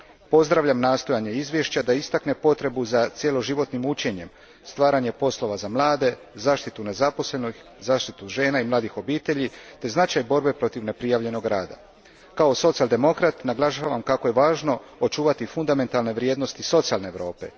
Pozdravljam nastojanje izvješća da istakne potrebu za cjeloživotnim učenjem, stvaranjem poslova za mlade, zaštitu nezaposlenih, zaštitu žena i mladih obitelji te značaj borbe protiv neprijavljenog rada. Kao socijaldemokrat naglašavam kako je važno očuvati fundamentalne vrijednosti socijalne Europe.